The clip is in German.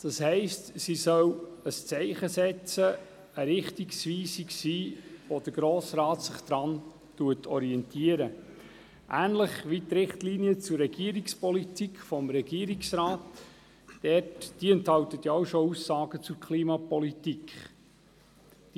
Das heisst, sie soll ein Zeichen setzen und ein Richtungsweiser sein, an dem sich der Grosse Rat orientiert, ähnlich wie die Richtlinien zur Regierungspolitik des Regierungsrates, die ebenfalls bereits Aussagen zur Klimapolitik enthalten.